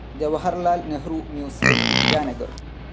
Jawaharlal Nehru museum, Itanagar